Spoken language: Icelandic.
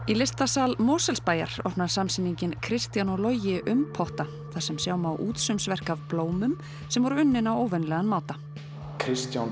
í listasal Mosfellsbæjar opnar Kristján og Loji umpotta þar sem sjá má útsaumsverk af blómum sem voru unnin á óvenjulegan máta Kristján